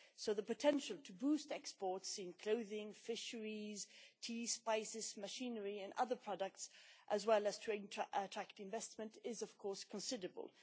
Therefore, the potential to boost exports in clothing, fisheries, tea, spices, machinery and other products, as well as to attract investment, is of course considerable.